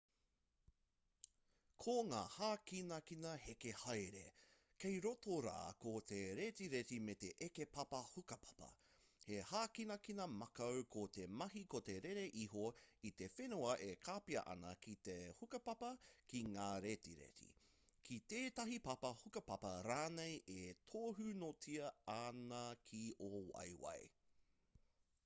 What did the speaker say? ko ngā hākinakina heke haere kei roto rā ko te retireti me te eke papa hukapapa he hākinakina makau ko te mahi ko te rere iho i te whenua e kapia ana ki te hukapapa ki ngā retireti ki tētahi papa hukapapa rānei e tūhonotia ana ki ō waeawae